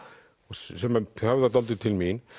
sem höfðar dálítið til mín